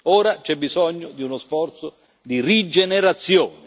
Ora c'è bisogno di uno sforzo di rigenerazione.